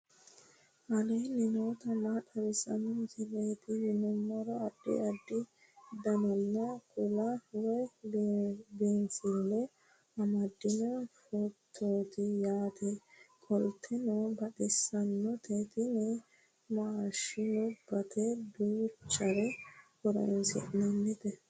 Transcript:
aleenni nooti maa xawisanno misileeti yinummoro addi addi dananna kuula woy biinsille amaddino footooti yaate qoltenno baxissannote tini maashinubbate duuchurira horoonsi'nannite